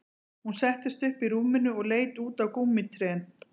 Hún settist upp í rúminu og leit út á gúmmítrén